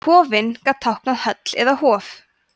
kofinn gat táknað höll eða hof